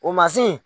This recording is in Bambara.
O